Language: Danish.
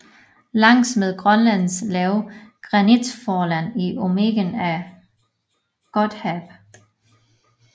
Langs med Grønlands lave granitforland i omegnen af Godthaab